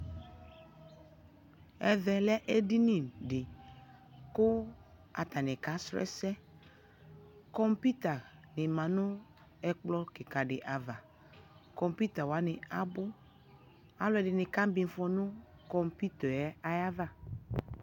ɛvɛ lɛ ɛdini di kʋ atani ka srɔ ɛsɛ, kɔmpʋta di manʋ ɛkplɔ kikaa di aɣa, kɔmpʋta wani abʋ, alʋɛdini kamiƒɔ nʋ kɔmpʋtaɛ aɣa